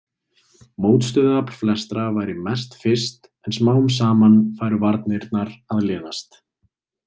Mótstöðuafl flestra væri mest fyrst en smám saman færu varnirnar að linast.